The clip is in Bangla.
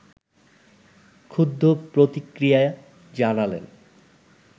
ক্ষুব্ধ প্রতিক্রিয়া জানালেন